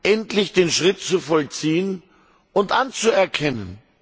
endlich den Schritt zu vollziehen und Kosovo anzuerkennen.